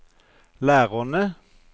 lærerne